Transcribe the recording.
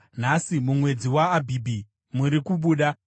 Nhasi, mumwedzi waAbhibhi muri kubuda.